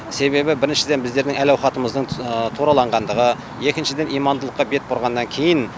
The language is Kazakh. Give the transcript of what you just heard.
себебі біріншіден біздердің әл ауқатымыздың тураланғандығы екіншіден имандылыққа бет бұрғаннан кейін